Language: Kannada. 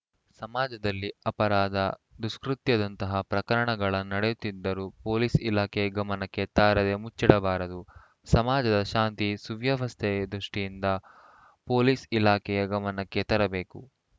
ಸಮಾಜದಲ್ಲಿ ಅಪರಾಧ ದುಷ್ಕೃತ್ಯದಂತಹ ಪ್ರಕರಣಗಳ ನಡೆಯುತ್ತಿದ್ದರೂ ಪೊಲೀಸ್‌ ಇಲಾಖೆ ಗಮನಕ್ಕೆ ತಾರದೇ ಮುಚ್ಚಿಡಬಾರದು ಸಮಾಜದ ಶಾಂತಿ ಸುವ್ಯವಸ್ಥೆ ದೃಷ್ಠಿಯಿಂದ ಪೊಲೀಸ್‌ ಇಲಾಖೆಯ ಗಮನಕ್ಕೆ ತೆರಬೇಕು